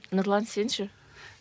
нұрлан сен ше